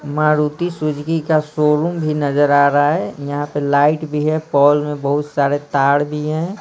Maruti Suzuki का showroom भी नजर आ रहा है यहाँ पे लाइट भी है पॉल में बहुत सारे तार भी हैं।